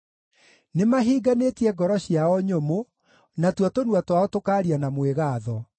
Nĩmahinganĩtie ngoro ciao nyũmũ, na tuo tũnua twao tũkaaria na mwĩgaatho.